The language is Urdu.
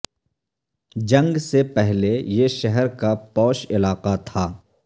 جنگ سے پہلے یہ شہر کا پوش علاقہ تھا